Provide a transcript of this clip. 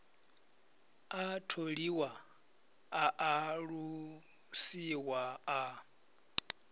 a tholiwa a alusiwa a